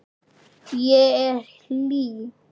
Ég er hlý.